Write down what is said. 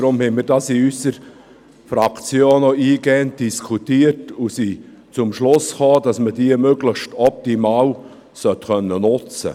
Darum haben wir dies in unserer Fraktion auch eingehend diskutiert und sind zum Schluss gekommen, dass man sie möglichst optimal nutzen können sollte.